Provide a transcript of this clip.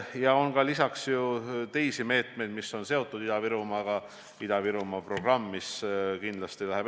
On ka teisi meetmeid, mis on seotud Ida-Virumaaga, näiteks Ida-Virumaa programm, mis läheb kindlasti edasi.